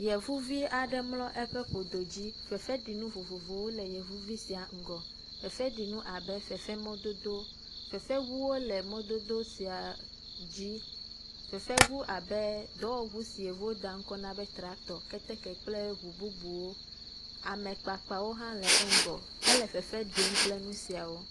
Yevu aɖe mlɔ eƒe ƒodo dzi. Fefeɖinu vovovowo le yevuvi sia ŋgɔ. Fefeɖinu abe fefemɔdodo, fefeŋuwo le mɔdodo sia dzi. Fefeŋu abe dɔwɔŋu si yevuwo da ŋkɔ na be traktɔ, keteke kple ŋu bubuwo. Ame kpakpawo hã le eƒe ŋgɔ. Ele fefe ɖim kple nu siawo.